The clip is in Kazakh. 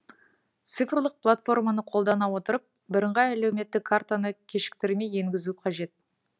цифрлық платформаны қолдана отырып бірыңғай әлеуметтік картаны кешіктірмей енгізу қажет